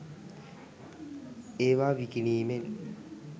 ඒවා විකිණීමෙන්